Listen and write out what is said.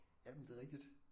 Jamen det er rigtigt